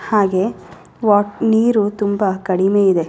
ಹಾಗೆ ವಾ ನೀರು ತುಂಬಾ ಕಡಿಮೆ ಇದೆ.